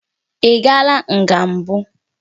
Ị gaala nga mbụ?